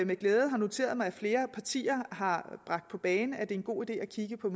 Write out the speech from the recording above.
med glæde har noteret mig at flere partier har bragt på bane at en god idé at kigge på